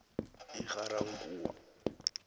egarankuwa